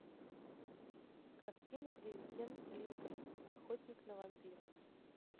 картина президент линкольн охотник на вампиров